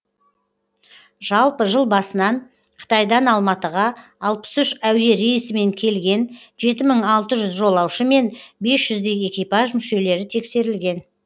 жалпы жыл басынан қытайдан алматыға алпыс үш әуе рейсімен келген жеті мың алты жүз жолаушы мен бес жүздей экипаж мүшелері тексерілген